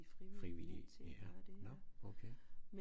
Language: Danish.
Frivillige ja nåh okay